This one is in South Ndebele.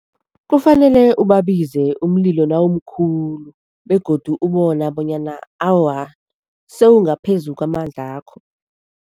Kufanele ubabize umlilo nawumkhulu begodu ubona bonyana awa, sewungaphezu kwamandlakho.